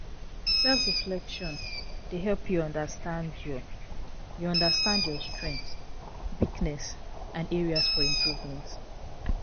Self-reflection dey help you understand your you understand your strengths, weakness and areas for improvement.